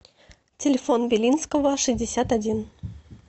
телефон белинского шестьдесят один